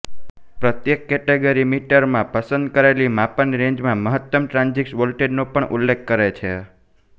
પ્રત્યેક કેટેગરી મીટરમાં પસંદ કરેલી માપન રેન્જમાં મહત્તમ ટ્રાન્ઝીટ વોલ્ટેજનો પણ ઉલ્લેખ કરે છે